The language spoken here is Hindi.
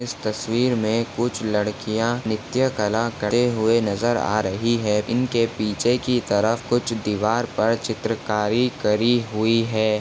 इस तस्वीर में कुछ लड़किया नृत्य कला करते हुए नजर आ रही है इनके पीछे की तरफ कुछ दीवार पर चित्रकारी करी हुई है।